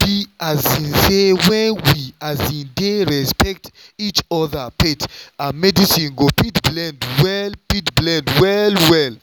be um say when we um dey respect each other faith and medicine go fit blend well fit blend well well